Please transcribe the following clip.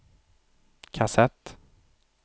kassett